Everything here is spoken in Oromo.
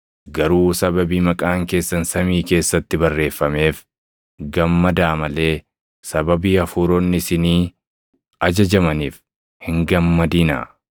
Garuu sababii maqaan keessan samii keessatti barreeffameef gammadaa malee sababii hafuuronni isinii ajajamaniif hin gammadinaa.”